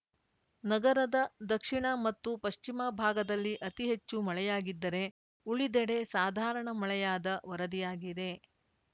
ನಗರದ ದಕ್ಷಿಣ ಮತ್ತು ಪಶ್ಚಿಮ ಭಾಗದಲ್ಲಿ ಅತಿ ಹೆಚ್ಚು ಮಳೆಯಾಗಿದ್ದರೆ ಉಳಿದೆಡೆ ಸಾಧಾರಣ ಮಳೆಯಾದ ವರದಿಯಾಗಿದೆ